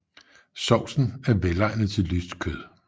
Sovsen er velegnet til lyst kød